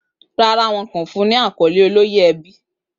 Rárá, wọn kò fún un ní àkọ́lé ìyálò ẹbí.